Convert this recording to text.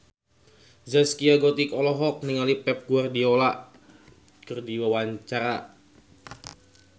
Zaskia Gotik olohok ningali Pep Guardiola keur diwawancara